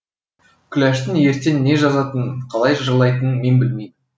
күләштің ертең не жазатынын қалай жырлайтынын мен білмеймін